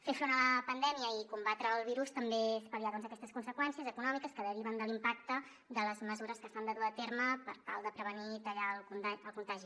fer front a la pandèmia i combatre el virus també és pal·liar doncs aquestes conseqüències econòmiques que deriven de l’impacte de les mesures que s’han de dur a terme per tal de prevenir i tallar el contagi